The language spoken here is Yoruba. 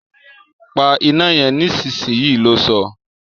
Pa iná yen nísinsìnyí! lo sọ́